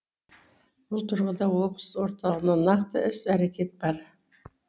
бұл тұрғыда облыс орталығында нақты іс әрекет бар